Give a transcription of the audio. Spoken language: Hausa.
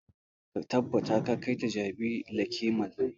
Ka tabbata ka kai ta jabi lake mall!